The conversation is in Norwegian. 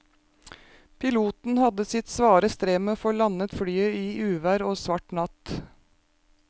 Piloten hadde sitt svare strev med å få landet flyet i uvær og svart natt.